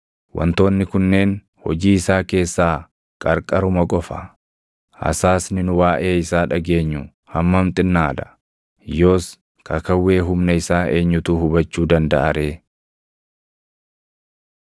Wantoonni kunneen hojii isaa keessaa qarqaruma qofa; hasaasni nu waaʼee isaa dhageenyu hammam xinnaa dha! Yoos kakawwee humna isaa eenyutu hubachuu dandaʼa ree?”